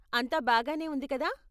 అంతా బాగానే ఉంది కదా.